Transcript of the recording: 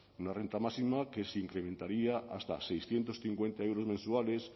una renta máxima que se incrementaría hasta seiscientos cincuenta euros mensuales